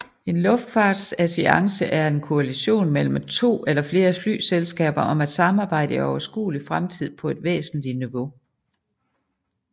En luftfartsalliance er en koalition mellem to eller flere flyselskaber om at samarbejde i overskuelig fremtid på et væsentligt niveau